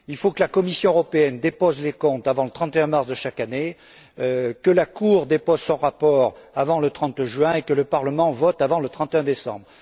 Il faut que la Commission européenne dépose les comptes avant le 31 mars de chaque année, que la Cour dépose son rapport avant le 30 juin, et que le Parlement vote avant le 31 décembre.